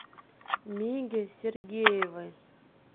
миге сергеевой